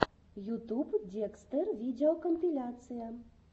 ютуб декстер видеокомпиляция